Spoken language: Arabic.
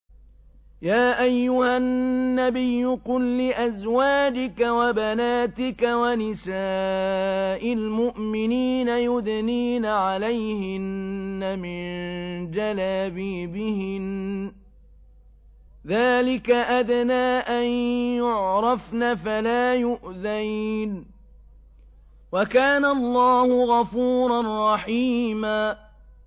يَا أَيُّهَا النَّبِيُّ قُل لِّأَزْوَاجِكَ وَبَنَاتِكَ وَنِسَاءِ الْمُؤْمِنِينَ يُدْنِينَ عَلَيْهِنَّ مِن جَلَابِيبِهِنَّ ۚ ذَٰلِكَ أَدْنَىٰ أَن يُعْرَفْنَ فَلَا يُؤْذَيْنَ ۗ وَكَانَ اللَّهُ غَفُورًا رَّحِيمًا